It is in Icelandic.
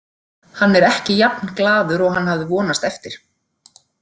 Hann er ekki jafn glaður og hann hafði vonast eftir.